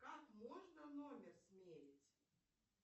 как можно номер сменить